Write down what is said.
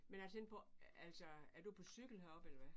Men jeg tænkte på altså er du på cykel herop eller hvad?